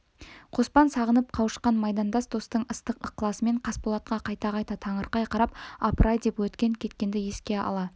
қоспан сағынып қауышқан майдандас достың ыстық ықласымен қасболатқа қайта-қайта таңырқай қарап апырай деп өткен-кеткенді еске ала